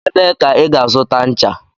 Ebee ka ị ga-azụta ncha?